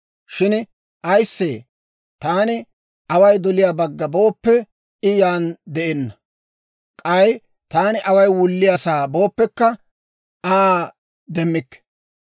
«Shin ayissee, taani away doliyaa bagga booppe, I yaan de'enna; k'ay taani away wulliyaasaa booppekka, Aa demmikke.